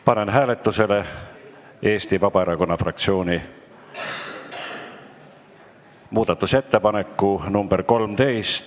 Panen hääletusele Eesti Vabaerakonna fraktsiooni muudatusettepaneku nr 13.